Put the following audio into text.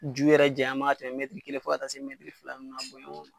Ju yɛrɛ janya man kan ka tɛmɛ mɛtiri kelen fo a taa se mɛtiri fila ninnu na, a bonyɛ o